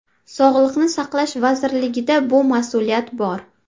Sog‘liqni saqlash vazirligida bu mas’uliyat bor.